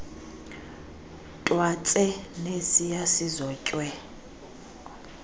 twatse nesiya sizotywe